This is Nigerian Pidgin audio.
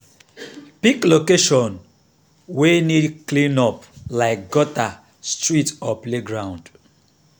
pick location wey need clean up like gutter street or playground.